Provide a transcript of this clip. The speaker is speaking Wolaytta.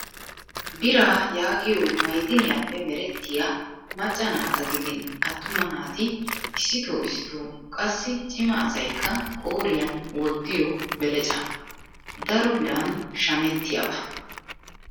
Biraa yaagiyoo ma'idiniyaappe meretttiyaa macca naata gidin attuma naati issitoo issitoo qassi cima asayikka qooriyan wottiyoo belecaa. Daro biran shamettiyaabaa.